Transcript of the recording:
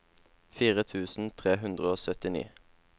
fire tusen tre hundre og syttini